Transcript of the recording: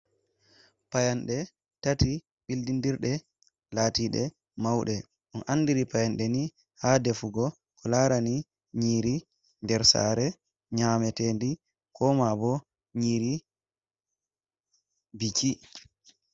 Payanɗe tati bildindirde latiɗe mauɗe on andiri payande ni ha defugo ko larani nyiiri nder sare nyametedi koma bo nyiiri biki.